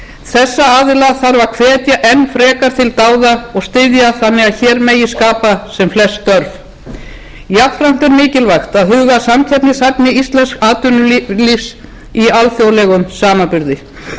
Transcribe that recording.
þessa aðila þarf að hvetja enn frekar til dáða og styðja þannig að hér megi skapa sem flest störf jafnframt er mikilvægt að huga að samkeppnishæfni íslensks atvinnulífs í alþjóðlegum samanburði afar mikilvægt er að byggt verði á þeim